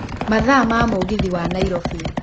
mathaa ma mũgithi wa nairobi